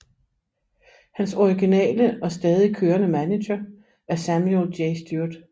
Hans originale og stadig kørende manager er Samuel J Stewart